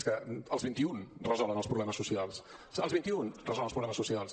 és que els vint i un resolen els problemes socials els vint i un resolen els problemes socials